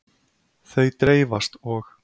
Þau dreifast og.